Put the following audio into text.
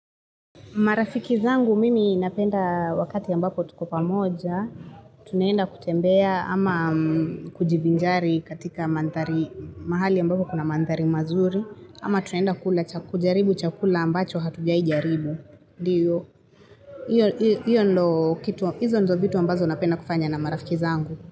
Marafiki zangu mimi napenda wakati ambapo tuko pamoja. Tunaenda kutembea ama kujivinjari katika mahali ambapo kuna mandhari mazuri. Ama tunaenda kujaribu chakula ambacho hatujai jaribu. Izo ndo vitu ambazo napenda kufanya na marafiki zangu.